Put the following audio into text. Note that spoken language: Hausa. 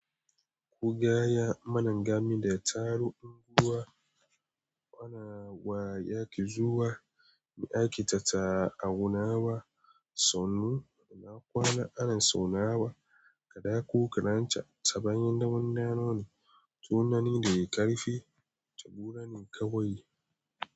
Ku gaya manan gami da ya taron unguwa, wayaki zuwa, me ake tattaunawa, sannu, ina kwana ana zauna wa, kaɗa ku, ka ranta, ta bayan damuna nane, tunani da ya ƙarfe, ta gura ni kawai.